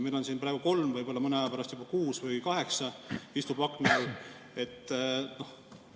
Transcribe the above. Meil istub siin praegu kolm, võib-olla mõne aja pärast juba kuus või kaheksa akna all.